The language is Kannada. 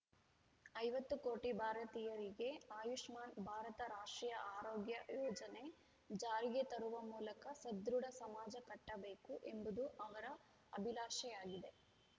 ಐವತ್ತು ಕೋಟಿ ಭಾರತೀಯರಿಗೆ ಆಯುಷ್ಮಾನ್‌ ಭಾರತ ರಾಷ್ಟ್ರೀಯ ಆರೋಗ್ಯ ಯೋಜನೆ ಜಾರಿಗೆ ತರುವ ಮೂಲಕ ಸದೃಢ ಸಮಾಜ ಕಟ್ಟಬೇಕು ಎಂಬುದು ಅವರ ಅಭಿಲಾಷೆಯಾಗಿದೆ